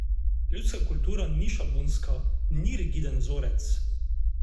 Ljudska kultura ni šablonska, ni rigiden vzorec.